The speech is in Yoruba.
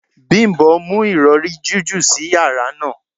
Bimbo mu irọri jiju si yara naa